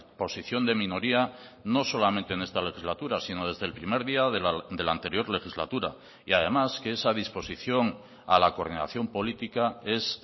posición de minoría no solamente en esta legislatura sino desde el primer día de la anterior legislatura y además que esa disposición a la coordinación política es